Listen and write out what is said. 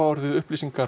upplýsingar